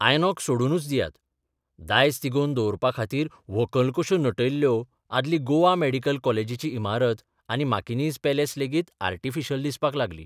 INOX सोडूनच दियात, दायज तिगोबन दवरपाखातीर व्हंकल कश्यो नटयल्ल्यो आदली गोवा मॅडिकल कॉलेजीची इमारत आनी माकिनाझ पॅलेस लेगीत आर्टिफिशियल दिसपाक लागली.